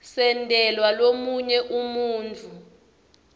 sentelwa lomunye umuntfu